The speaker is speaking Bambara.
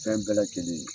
Fɛn bɛɛ lajɛlen